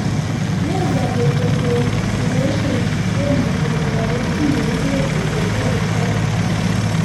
Laser photocoagulation komuchi kotoret chii ye ipet ole kertoi